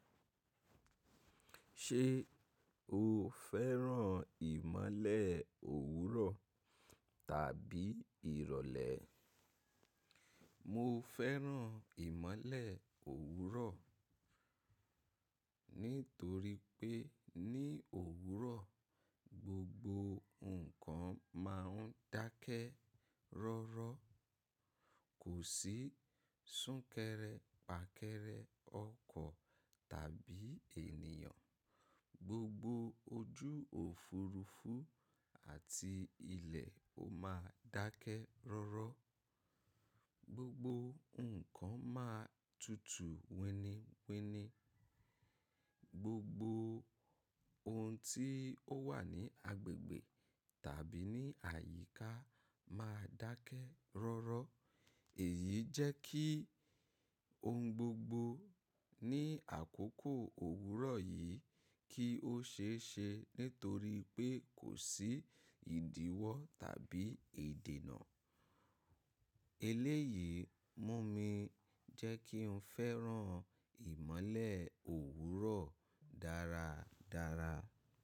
Ṣé o fẹ́ràn ìmọ́lẹ̀ òwúrọ̀ tàbí ìrọ̀lẹ́? Mo fẹ́ràn ìmọ́lẹ̀ òwúrọ̀ nítorí pé ní òwúrọ̀ gbogbo nǹkan máa ń dákẹ́ rọ́rọ́. Kò sí súnkẹrẹ fàkẹrẹ ọkọ̀ tàbí ènìyàn. Gbogbo ojú òfuurufú àti ilẹ̀ ó máa dákẹ́ rọ́rọ́. Gbogbo nǹkan máa tutù wini wini. Gbogbo ohun tí ó wà ní agbègbè tàbí ní àyíká máa dákẹ́ rọ́rọ́. Èyí jẹ́ kí ohun gbogbo ní àkókò òwúrọ̀ yìí kí ó ṣe é ṣe nítorí pé kò sí ìdíwọ́ tàbí ìdènà. Eléyìí mú mi jẹ́ kí n fẹ́ràn ìmọ́lẹ̀ òwúrọ̀ dáradára.